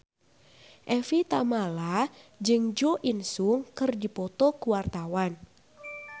Evie Tamala jeung Jo In Sung keur dipoto ku wartawan